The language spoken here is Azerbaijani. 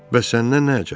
Bəs səndən nə əcəb?